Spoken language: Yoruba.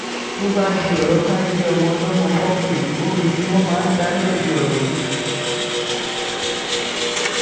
tó bá di ọ̀rọ̀ ká gbé ọmọ ọlọ́mọ fọkùnrin obìnrin ni wọ́n máa ń dá lẹ́bi ọ̀rọ̀ yìí